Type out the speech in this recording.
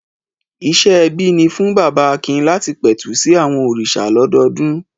Ìṣe ẹbí ni fún bàbá Akin láti pẹ̀tù sí àwọn òrìṣà lọ́dọọdún.